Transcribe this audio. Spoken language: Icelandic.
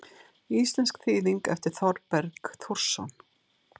Íslensk þýðing eftir Þorberg Þórsson.